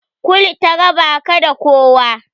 Kul ta raba ka da kowa.